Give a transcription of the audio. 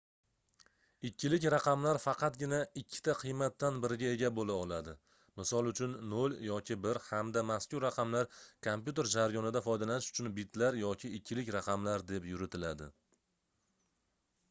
ikkilik raqamlar faqatgina ikkita qiymatdan biriga ega boʻla oladi misol uchun 0 yoki 1 hamda mazkur raqamlar kompyuter jargonida foydalanish uchun bitlar yoki ikkilik raqamlar deb yuritiladi